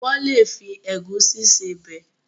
wón lè fi Egusi ṣe Ọbẹ̀